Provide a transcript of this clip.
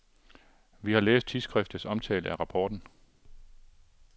Vi har læst tidsskriftets omtale af rapporten.